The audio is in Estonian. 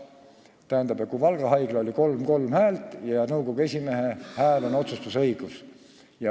Tähendab, Valga haiglas oli seis 3 : 3 ja nõukogu esimehe hääl otsustas.